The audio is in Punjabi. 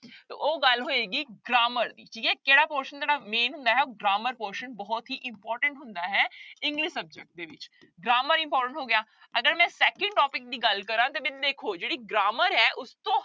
ਤਾਂ ਉਹ ਗੱਲ ਹੋਏਗੀ grammar ਦੀ, ਠੀਕ ਹੈ ਕਿਹੜਾ portion ਜਿਹੜਾ main ਹੁੰਦਾ ਹੈ grammar portion ਬਹੁਤ ਹੀ important ਹੁੰਦਾ ਹੈ english subject ਦੇ ਵਿੱਚ grammar important ਹੋ ਗਿਆ ਅਗਰ ਮੈਂ second topic ਦੀ ਗੱਲ ਕਰਾਂ ਤੇ ਫਿਰ ਦੇਖੋ ਜਿਹੜੀ grammar ਹੈ ਉਸ ਤੋਂ